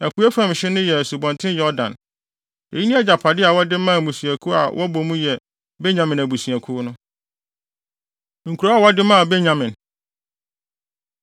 Apuei fam hye no yɛ Asubɔnten Yordan. Eyi ne agyapade a wɔde maa mmusua a wɔbɔ mu yɛ Benyamin abusuakuw no. Nkurow A Wɔde Maa Benyamin